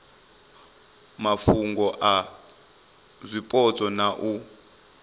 mafhungo a zwipotso na u